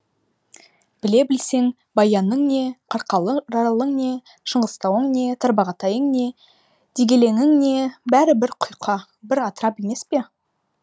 біле білсең баяның не қарқаралың не шыңғыстауың не тарбағатайың не дегелеңің не бәрі бір құйқа бір атырап емес пе